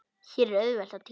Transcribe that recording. Hér er auðvelt að týnast.